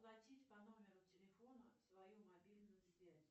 платить по номеру телефона свою мобильную связь